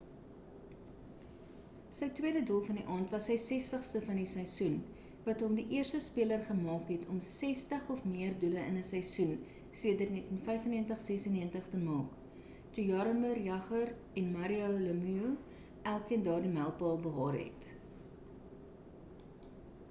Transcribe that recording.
sy tweede doel van die aand was sy 60ste van die seisoen wat hom die eerste speler gemaak het om 60 of meer doele in 'n seisoen sedert 1995-96 te maak toe jaromir jagr en mario lemieux elkeen daardie mylpaal behaal het